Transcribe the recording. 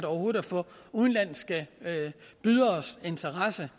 overhovedet at få udenlandske byderes interesse